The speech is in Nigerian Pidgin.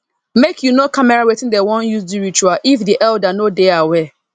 make you no camera wattin dem won use do ritual if the elder no dey aware